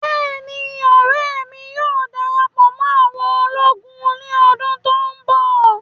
Bẹ́ẹ̀ni, ọrẹ mi yóò darapọ mọ àwọn ologun ni ọdun to nbọ